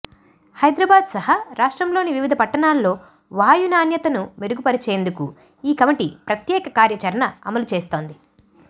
హైదరాబాద్ సహా రాష్ట్రంలోని వివిధ పట్టణాల్లో వాయు నాణ్యతను మెరుగుపరిచేం దుకు ఈ కమిటీ ప్రత్యేక కార్యచరణ అమలు చేస్తోంది